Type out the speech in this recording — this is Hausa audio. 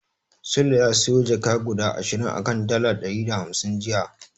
Sule ya siyo jaka guda ashirin a kan dala ɗari da hamsin jiya.